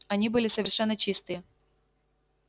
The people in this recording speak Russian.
они были совершенно чистые